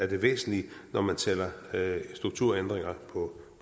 det væsentlige når man taler strukturændringer på